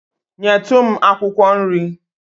Nyetu m akwụkwọ nri.